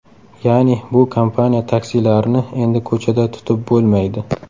Ya’ni, bu kompaniya taksilarini endi ko‘chada tutib bo‘lmaydi.